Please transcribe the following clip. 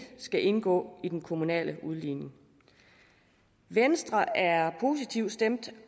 skal indgå i den kommunale udligning venstre er positivt stemt